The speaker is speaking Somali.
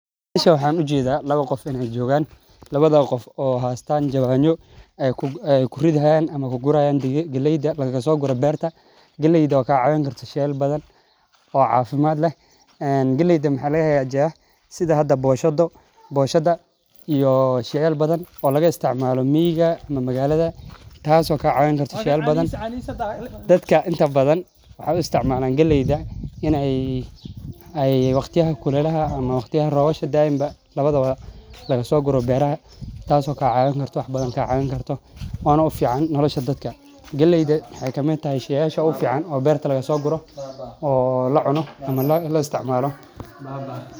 Meshan maxan ujeda lawa qof in ee jogan in ee galey ku guri hatan jawano dadka badan maxee u isticmalan in ee geedaha laga so guro sheysasha badan oo la isticmalo oo dadka bilaadanka ufican sas waye.